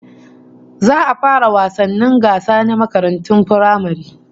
Za a fara wasannin gasa na makarantun firamare